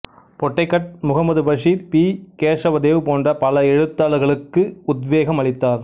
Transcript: Pottekkatt Muhammad Basheer P Kesavadev போன்ற பல எழுத்தாளர்களுக்கு உத்வேகம் அளித்தார்